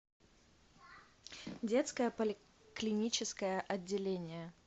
детское поликлиническое отделение